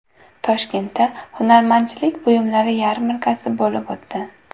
Toshkentda hunarmandchilik buyumlari yarmarkasi bo‘lib o‘tdi .